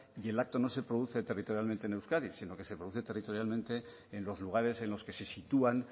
y el acto no se produce territorialmente en euskadi sino que se produce en los lugares en los que se sitúan